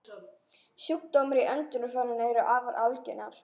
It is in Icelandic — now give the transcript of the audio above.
Sjúkdómar í öndunarfærum eru afar algengir.